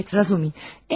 Ha, evət, Razumi.